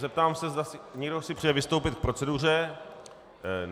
Zeptám se, zda si někdo přeje vystoupit k proceduře.